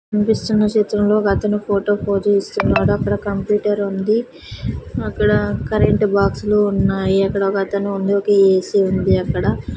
కనిపిస్తున్న చిత్రంలో ఒకతను ఫోటో కి ఫోజి స్తున్నాడు అక్కడ కంప్యూటర్ ఉంది అక్కడ కరెంట్ బాక్సు లు ఉన్నాయి అక్కడ ఒక అతను ముందుకి ఏసి ఉంది అక్కడ.